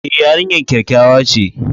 E, yarinyar kyakkyawa ce.